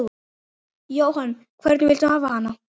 Jóhann: Hvernig viltu hafa hana?